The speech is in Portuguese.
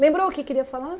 Lembrou o que queria falar?